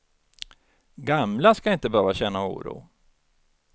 Gamla ska inte behöva känna oro.